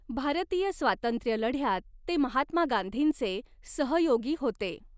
भारतीय स्वातंत्र्यलढ्यात ते महात्मा गांधींचे सहयोगी होते.